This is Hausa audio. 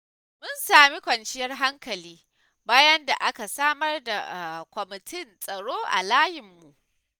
Mun sami kwanciyar hankali, bayan da aka samar da kwamitin tsaro a layinmu.